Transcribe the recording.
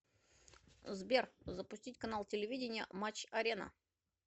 сбер запустить канал телевидения матч арена